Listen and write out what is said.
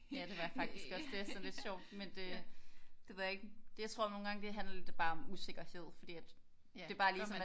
Ja det var jeg faktisk også. Det er sådan lidt sjovt men det det ved jeg ikke. Jeg tror nogle gange det handler det bare det om usikkerhed fordi at et er bare lige som man